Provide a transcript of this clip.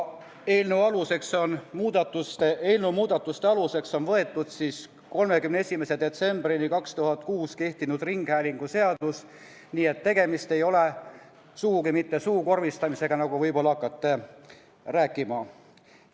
Eelnõu muudatuste aluseks on võetud kuni 31. detsembrini 2006 kehtinud ringhäälinguseadus, nii et tegemist ei ole sugugi mitte suukorvistamisega, nagu nüüd võib-olla hakkate rääkima.